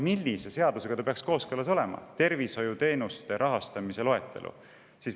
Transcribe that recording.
Millise seadusega peaks olema kooskõlas "Tervisekassa tervishoiuteenuste loetelu"?